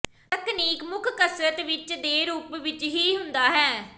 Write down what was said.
ਤਕਨੀਕ ਮੁੱਖ ਕਸਰਤ ਵਿੱਚ ਦੇ ਰੂਪ ਵਿੱਚ ਹੀ ਹੁੰਦਾ ਹੈ